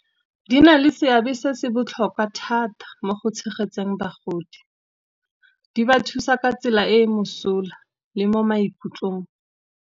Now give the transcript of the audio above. Di na le seabe se se botlhokwa thata mo go tshegetseng bagodi, di ba thusa ka tsela e e mosola le mo maikutlong.